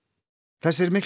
þessir miklu